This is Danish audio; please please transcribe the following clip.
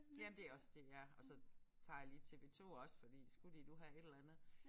Ja men det også DR og så tager jeg lige TV 2 også fordi skulle de nu have et eller andet